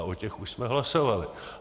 A o těch už jsme hlasovali.